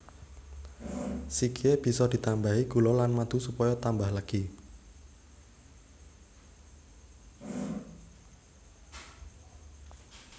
Sikhye bisa ditambahi gula lan madu supaya tambah legi